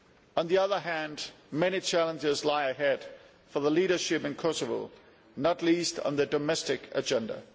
On the other hand, many challenges lie ahead for the leadership in Kosovo, not least on the domestic agenda.